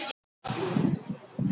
Theódór, lækkaðu í græjunum.